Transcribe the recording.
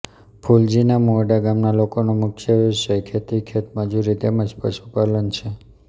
ફુલજીના મુવાડા ગામના લોકોનો મુખ્ય વ્યવસાય ખેતી ખેતમજૂરી તેમ જ પશુપાલન છે